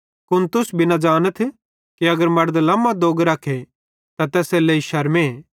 कुन तुस भी न ज़ानथ कि अगर मड़द लमो दोग रखे त तैसेरेलेइ शरमे